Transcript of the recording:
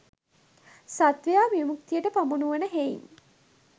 සත්වයා විමුක්තියට පමුණුවන හෙයින්